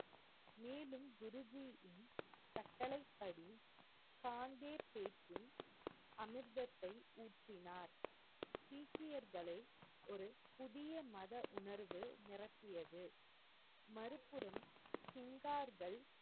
கட்டளைப்படி காந்தேபேக்கின் அமிர்தத்தை ஊற்றினார். சீக்கியர்களை ஒரு புதிய மத உணர்வு நிரப்பியது. மறுபுறம் சிங்கார்கள்,